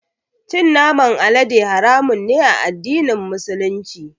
Cin naman alade haramun ne a addinin Musulunci.